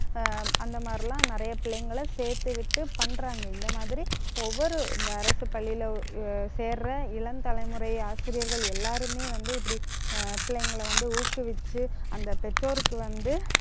ஆஹ் அந்த மாதிரி எல்லாம் நிறைய பிள்ளைங்களை சேர்த்து விட்டு பண்றாங்க. இந்த மாதிரி ஒவ்வொரு இந்த அரசு பள்ளியில உள்~ அஹ் சேர்ற இளம் தலைமுறை ஆசிரியர்கள் எல்லாருமே வந்து, இப்படி ஆஹ் பிள்ளைங்களை வந்து ஊக்குவிச்சு அந்த பெற்றோருக்கு வந்து